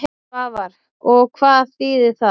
Svavar: Og hvað þýðir það?